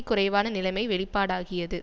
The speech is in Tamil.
குறைவான நிலைமை வெளிப்பாடாகியது